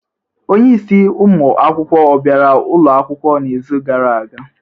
Onye isi ụmụ akwụkwọ ọ bịara ụlọ akwụkwọ n'izu gara aga?